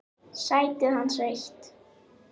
Sætið hans autt.